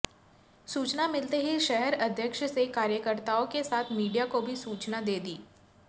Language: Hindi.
सूचना मिलते ही शहर अध्यक्ष से कार्यकर्ताओं के साथ मीडिया को भी सूचना दे दी